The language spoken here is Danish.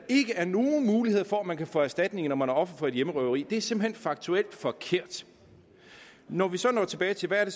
er nogen mulighed for at man kan få erstatning når man er offer for et hjemmerøveri er simpelt hen faktuelt forkert når vi så når tilbage til hvad det